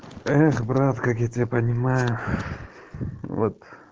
эх брат как я тебя понимаю вот